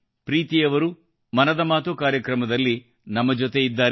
ಪ್ರೀತಿ ಅವರು ಮನದ ಮಾತು ಕಾರ್ಯಕ್ರಮದಲ್ಲಿ ನಮ್ಮ ಜೊತೆಯಾಗಿದ್ದಾರೆ